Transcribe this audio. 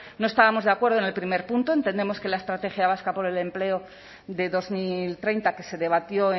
no estábamos de acuerdo en el primer punto entendemos que la estrategia vasca por el empleo de dos mil treinta que se debatió